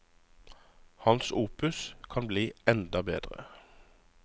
Hans opus kan bli enda bedre.